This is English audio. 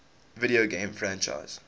video game franchises